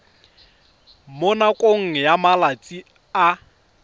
mo nakong ya malatsi a